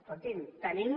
escolti’m tenim